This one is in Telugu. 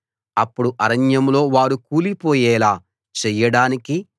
అప్పుడు అరణ్యంలో వారు కూలిపోయేలా చేయడానికి